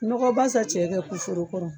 Nɔgɔba sa cɛ kɛ ku foro kɔrɔ.